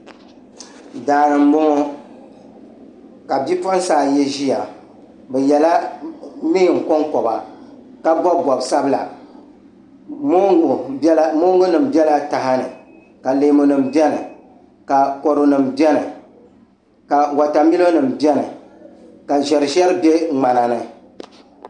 Daani n boŋo ka bipuɣunsi ayi ʒiya bi yɛla neen konkoba ka bob bob sabila moongu nim biɛla taha ni ka leemu nim biɛni ka kodu nim biɛni ka wotamilo nim biɛni ka ʒɛri ʒɛri bɛ ŋmana ni